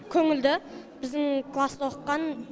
көңілді біздің класста оқыған